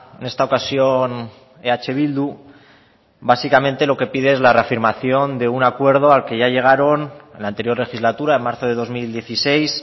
en esta ocasión eh bildu básicamente lo que pide es la reafirmación de un acuerdo al que ya llegaron en la anterior legislatura en marzo de dos mil dieciséis